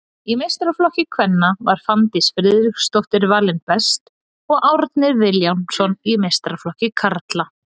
Í meistaraflokki kvenna var Fanndís Friðriksdóttir valinn best og Árni Vilhjálmsson í meistaraflokki karla.